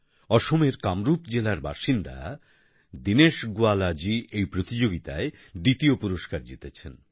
অসমের কামরূপ জেলার বাসিন্দা দিনেশ গোয়ালা জী এই প্রতিযোগিতায় দ্বিতীয় পুরস্কার জিতেছেন